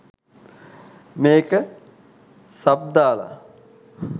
මේක සබ් දාල